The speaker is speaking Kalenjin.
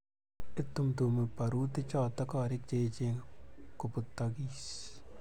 itumtumi barutichoto korik che echen kobutokis